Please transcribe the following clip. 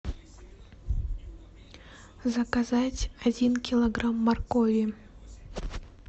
заказать один килограмм моркови